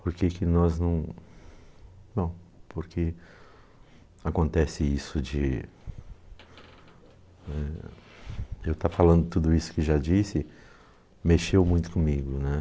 Por que qye nós não... Não, porque acontece isso de eh... Eu estar falando tudo isso que já disse mexeu muito comigo, né?